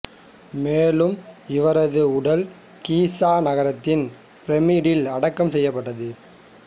மேலும் இவரது உடல் கீசா நகரத்தின் பிரமிடில் அடக்கம் செய்யப்பட்டது